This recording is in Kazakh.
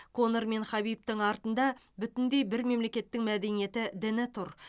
конор мен хабибтің артында бүтіндей бір мемлекеттің мәдениеті діні тұр